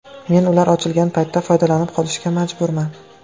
Men ular ochilgan paytda foydalanib qolishga majburman.